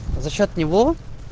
за счёт него